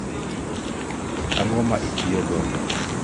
ang'o ma itiyo kodo